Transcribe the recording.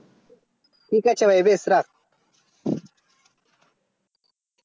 ঠিক আছে ভাই বেশ রাখ